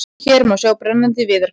Hér má sjá brennandi viðarkol.